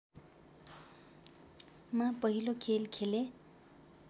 मा पहिलो खेल खेले